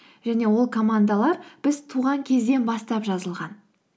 және ол командалар біз туған кезден бастап жазылған